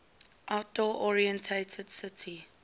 outdoor oriented city